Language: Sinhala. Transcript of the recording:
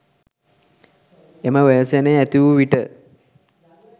එම ව්‍යසනය ඇතිවූ විට